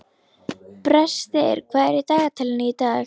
Brestir, hvað er í dagatalinu í dag?